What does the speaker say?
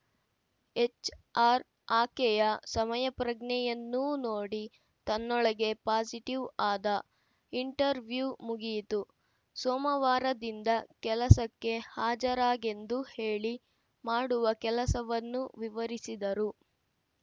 HR ಆಕೆಯ ಸಮಯಪ್ರಜ್ಞೆಯನ್ನೂ ನೋಡಿ ತನ್ನೊಳಗೇ ಪಾಸಿಟಿವ್‌ ಆದ ಇಂಟರ್ವ್ಯೂ ಮುಗಿಯಿತು ಸೋಮವಾರದಿಂದ ಕೆಲಸಕ್ಕೆ ಹಾಜರಾಗೆಂದು ಹೇಳಿ ಮಾಡುವ ಕೆಲಸವನ್ನೂ ವಿವರಿಸಿದರು